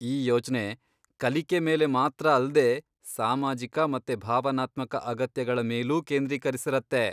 ಈ ಯೋಜ್ನೆ ಕಲಿಕೆ ಮೇಲೆ ಮಾತ್ರ ಅಲ್ದೇ ಸಾಮಾಜಿಕ ಮತ್ತೆ ಭಾವನಾತ್ಮಕ ಅಗತ್ಯಗಳ ಮೇಲೂ ಕೇಂದ್ರೀಕರಿಸಿರತ್ತೆ.